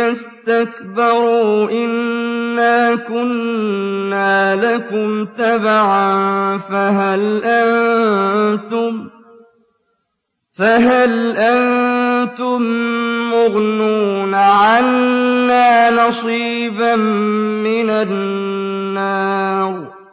اسْتَكْبَرُوا إِنَّا كُنَّا لَكُمْ تَبَعًا فَهَلْ أَنتُم مُّغْنُونَ عَنَّا نَصِيبًا مِّنَ النَّارِ